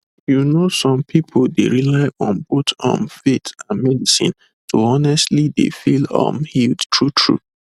you know some pipu dey rely on both um faith and medicine to honestly dey feel um healed true true